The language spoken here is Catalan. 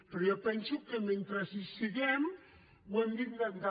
però jo penso que mentre hi siguem ho hem d’intentar